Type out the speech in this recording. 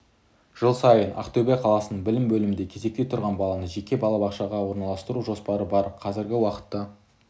жыл сайын ақтөбе қаласының білім бөлімінде кезекте тұрған баланы жеке балабақшаға орналастыру жоспары бар қазіргі уақытта